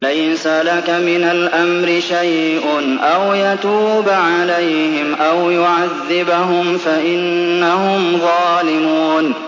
لَيْسَ لَكَ مِنَ الْأَمْرِ شَيْءٌ أَوْ يَتُوبَ عَلَيْهِمْ أَوْ يُعَذِّبَهُمْ فَإِنَّهُمْ ظَالِمُونَ